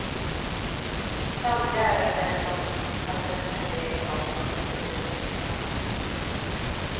Samtliga är överens om att hennes personliga egenskaper har stor betydelse för framgångarna.